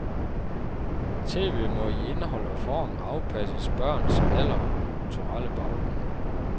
Tv må i indhold og form afpasses børns alder og kulturelle baggrund.